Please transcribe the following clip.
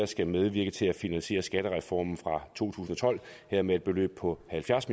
skal medvirke til at finansiere skattereformen fra to tusind og tolv her med et beløb på halvfjerds